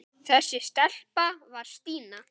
Þessi stelpa var Stína.